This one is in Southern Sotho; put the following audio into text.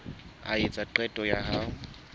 a etsa qeto ya ho